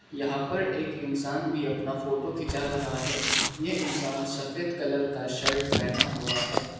यहां पर एक इंसान भी अपना फोटो खींच रहा है यह इंसान सफेद कलर का शर्ट पहना हुआ है।